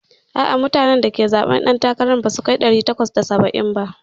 A'a, mutanen da suka zaɓe ɗan takara na basu kai ɗari takwas da saba'in ba.